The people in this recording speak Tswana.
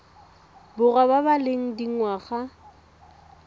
borwa ba ba leng dingwaga